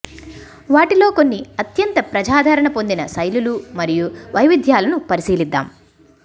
వాటిలో కొన్ని అత్యంత ప్రజాదరణ పొందిన శైలులు మరియు వైవిధ్యాలను పరిశీలిద్దాం